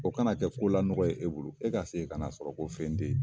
O kana kɛ ko lanɔgɔ ye e bolo. E ka segin kan'a sɔrɔ ko fɛn tɛ yen.